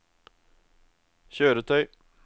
kjøretøy